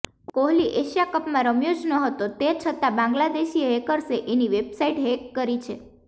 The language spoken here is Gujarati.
કોહલી એશિયા કપમાં રમ્યો જ નહોતો તે છતાં બાંગ્લાદેશી હેકર્સે એની વેબસાઈટ હેક કરી છે